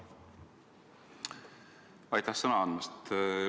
Aitäh sõna andmast!